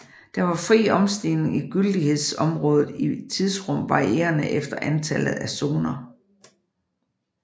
Der var fri omstigning i gyldighedsområdet i tidsrum varierende efter antallet af zoner